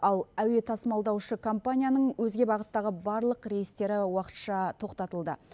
ал әуе тасымалдаушы компанияның өзге бағыттағы барлық рейстері уақытша тоқтатылды